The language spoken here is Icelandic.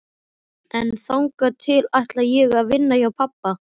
En þangað til ætla ég að vinna hjá pabba.